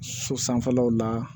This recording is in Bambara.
So sanfɛlaw la